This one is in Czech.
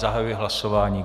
Zahajuji hlasování.